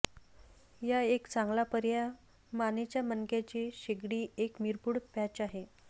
या एक चांगला पर्याय मानेच्या मणक्याचे शेगडी एक मिरपूड पॅच आहे